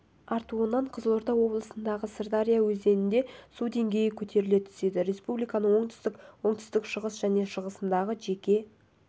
артуынан қызылорда облысындағы сырдария өзенінде су деңгейі көтеріле түседі республиканың оңтүстік оңтүстік-шығыс және шығысындағы жеке